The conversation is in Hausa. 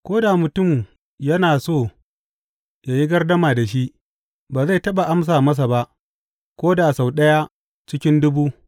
Ko da mutum yana so yă yi gardama da shi, ba zai taɓa amsa masa ba ko da sau ɗaya cikin dubu.